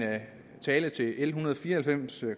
tale til l en hundrede og fire og halvfems